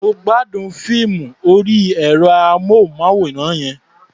Mo gbádùn fíìmù orí ẹ̀rọ-amóhùnmáwòrán yẹn.